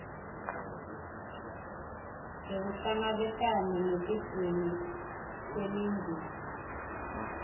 yekuhlangabetana netidzingo temindeni